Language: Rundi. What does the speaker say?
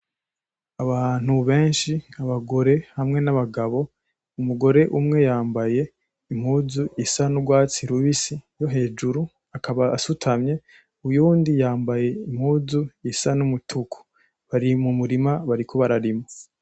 Abantu benshi, abagore hamwe n'abagabo. Umugore umwe yambaye impuzu isa n'ugwatsi rubisi yo hejuru akaba asutamye, uyundi yambaye impuzu isa n'umutuku. Bari mu murima bariko bararima.